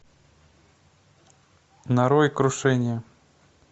нарой крушение